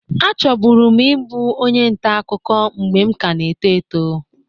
Achọbụrụ m ibụ onye nta akụkụ mgbe m kana-eto eto.